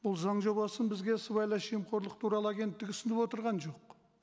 бұл заң жобасын бізге сыбайлас жемқорлық туралы агенттігі ұсынып отырған жоқ